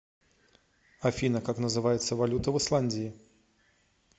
афина как называется валюта в исландии